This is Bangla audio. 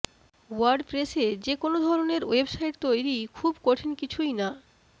ওয়ার্ডপ্রেসে যে কোন ধরনের ওয়েবসাইট তৈরি খুব কঠিন কিছুই না